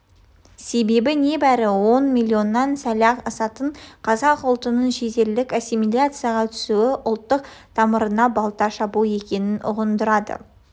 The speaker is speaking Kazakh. себебі не бәрі он миллионнан сәл-ақ асатын қазақ ұлтынын шетелдік ассимиляцияға түсуі ұлттың тамырына балта шабу екенін ұғындырады